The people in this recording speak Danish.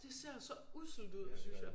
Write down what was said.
Det ser så usselt ud synes jeg